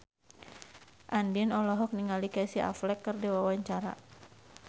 Andien olohok ningali Casey Affleck keur diwawancara